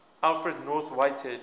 alfred north whitehead